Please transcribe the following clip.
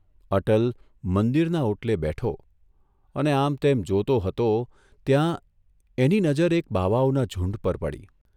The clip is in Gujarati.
અટલ મંદિરના ઓટલે બેઠો અને આમતેમ જોતો હતો ત્યાં એની નજર એક બાવાઓના ઝૂંડ પર પડી.